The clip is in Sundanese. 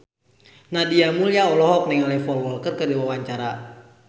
Nadia Mulya olohok ningali Paul Walker keur diwawancara